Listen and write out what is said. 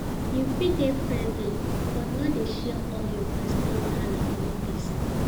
You fit dey friendly, but no dey share all your personal wahala for office.